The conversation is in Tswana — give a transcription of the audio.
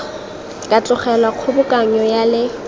ka tlogelwa kgobokanyo ya le